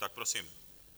Tak prosím.